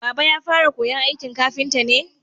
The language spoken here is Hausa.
Baba ya fara koyan aikin kafinta ne?